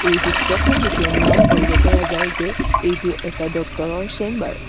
এই চিত্ৰখন দেখি অনুমান কৰিব পৰা যায় যে এইটো এটা ডক্তৰ ৰ চেম্বাৰ ।